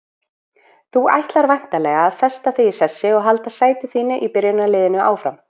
Þú ætlar væntanlega að festa þig í sessi og halda sæti þínu í byrjunarliðinu áfram?